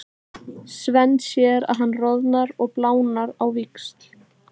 Svenni sér að hann roðnar og blánar á víxl.